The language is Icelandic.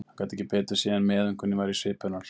Hann gat ekki betur séð en meðaumkun væri í svip hennar.